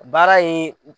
Baara ye